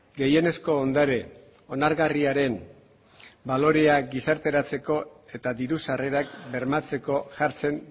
gehienezko ondare onargarriaren baloreak gizarteratzeko eta diru sarrerak bermatzeko jartzen